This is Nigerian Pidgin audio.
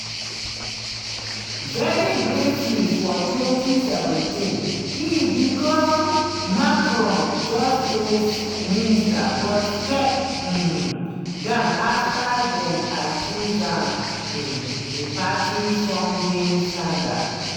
very briefly for 2017 e become macron justice minister but step um down afta dem accuse am in a party funding scandal.